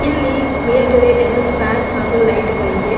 ಇಲ್ಲಿ ಮೇಲ್ಗಡೆ ಎರಡು ಫ್ಯಾನ್ ಹಾಗೂ ಲೈಟ್ ಗಳಿವೆ.